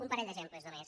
un parell d’exemples només